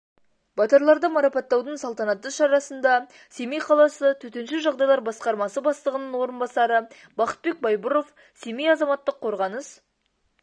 батырларды марапаттаудын салтанатты шарасында семей қаласы төтенше жағдайлар басқармасы бастығының орынбасары бақытбек байбұров семей азаматтық қорғаныс